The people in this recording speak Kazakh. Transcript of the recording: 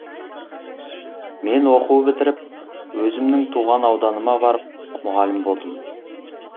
мен оқу бітіріп өзімнің туған ауданыма барып мұғалім болдым